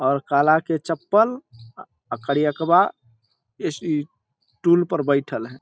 और काला के चप्पल करीएकवा ए सी टूल पर बैठल हेय।